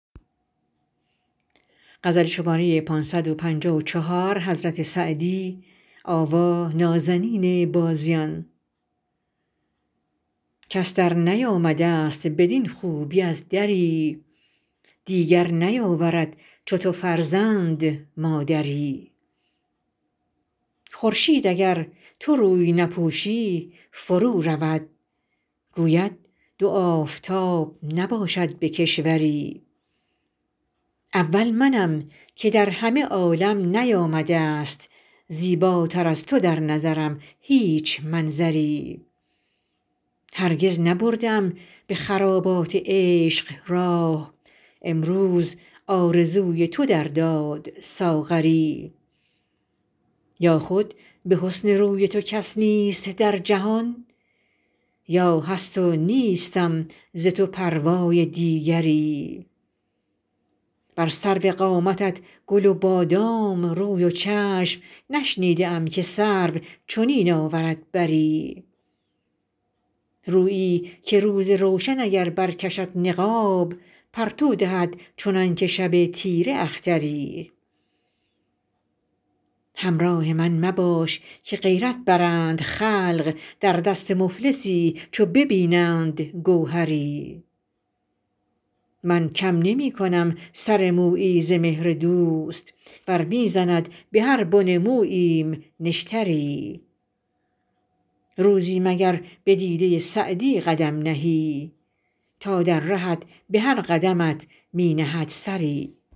کس درنیامده ست بدین خوبی از دری دیگر نیاورد چو تو فرزند مادری خورشید اگر تو روی نپوشی فرو رود گوید دو آفتاب نباشد به کشوری اول منم که در همه عالم نیامده ست زیباتر از تو در نظرم هیچ منظری هرگز نبرده ام به خرابات عشق راه امروزم آرزوی تو در داد ساغری یا خود به حسن روی تو کس نیست در جهان یا هست و نیستم ز تو پروای دیگری بر سرو قامتت گل و بادام روی و چشم نشنیده ام که سرو چنین آورد بری رویی که روز روشن اگر برکشد نقاب پرتو دهد چنان که شب تیره اختری همراه من مباش که غیرت برند خلق در دست مفلسی چو ببینند گوهری من کم نمی کنم سر مویی ز مهر دوست ور می زند به هر بن موییم نشتری روزی مگر به دیده سعدی قدم نهی تا در رهت به هر قدمت می نهد سری